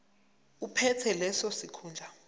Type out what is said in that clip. ophethe leso sikhundla